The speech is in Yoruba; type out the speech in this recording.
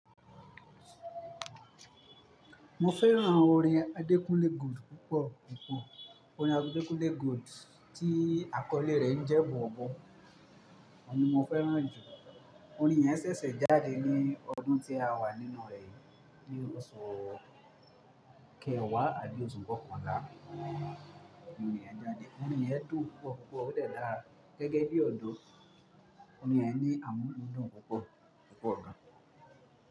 Mo fẹ́ran orin Adekunle Gold púpọ̀ púpọ̀. Orin Adekunle Gold tí àkọ́lé rẹ̀ ń jẹ́ bọbọ, oun ni mo fẹ́ran jù. Orin yẹn sẹ̀sẹ̀ jáde ní ọdún tí a wà nínú rẹ̀ yìí, ní oṣù kẹwàá àbí óṣù kọkànlá ni orin yẹn jáde. Orin yẹn dùn púpọ̀ púpọ̀, ó dẹ̀ dà gẹ́gẹ́ bí ọ̀dọ̀, orin yẹn ní àmúludùn púpọ̀, púpọ̀ gan.